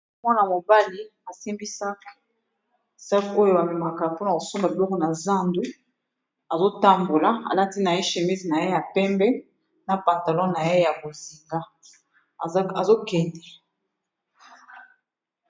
Mwana mobali asimbi sac, sac oyo ba memaka mpona kosomba biloko na zandu azo tambola alati na ye chemise na ye ya pembe na pantalon na ye ya bozinga azo kende.